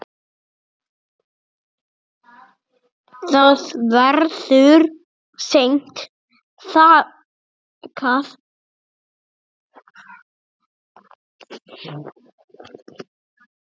Það verður seint þakkað.